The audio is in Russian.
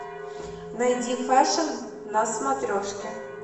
найди фэшн на смотрешке